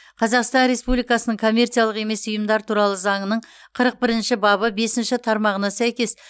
қазақсан республикасының коммерциялық емес ұйымдар туралы заңының қырық бірінші бабы бесінші тармағына сәйкес